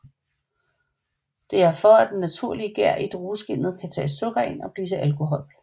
Det er for at den naturlige gær i drueskinnet kan tage sukker ind og blive til alkohol